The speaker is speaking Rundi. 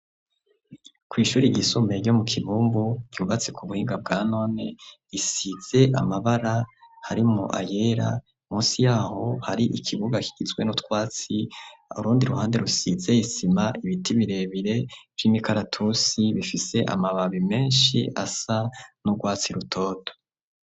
Kw'ishuri ryisumbuye, ryo mu Kibumbu, ryubatse ku buhinga bwa none, isize amabara, harimwo ayera, munsi y'aho hari ikibuga, kigizwe n'utwatsi, urundi ruhande, rusize isima, ibiti birebire, vy'imikaratusi, bifise amababi menshi, asa n'urwatsi rutoto.